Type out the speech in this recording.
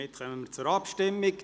Wir kommen zur Abstimmung.